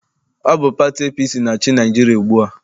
Ọ bụ pati APC na-achị Naịjirịa ugbua.